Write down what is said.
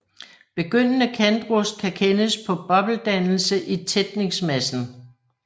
Begyndende kantrust kan kendes på bobledannelse i tætningsmassen